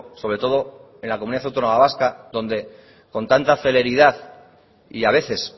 sobre todo en la comunidad autónoma vasca donde con tanta celeridad y a veces